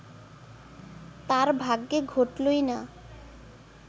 তাঁর ভাগ্যে ঘটলই না